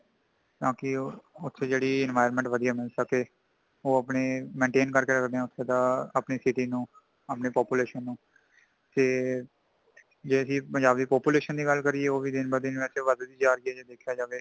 ਤਾਂਕਿ ਉੱਥੇ ਜੇੜ੍ਹੀ environment ਵਧੀਆ ਮੀਲ ਸੱਕੇ ,ਉਹ ਅਪਣੀ mental ਕਰਕੇ ਰੱਖਦੇ ਆ ਉੱਥੇ ਦਾ ਅਪਣੀ city ਨੂੰ , ਅਪਣੇ population ਨੂੰ , ਤੇ ਜੇ ਅਸੀਂ ਪੰਜਾਬ ਦੀ population ਦੀ ਗੱਲ ਕਰਿਏ ,ਉਹ ਵੀ ਦਿਨ ਬ ਦਿਨ ਵੇਸੇ ਵੱਧ ਜਾ ਰਹੀ ਹੈ ਦੇਖਿਆਂ ਜਾਵੇਂ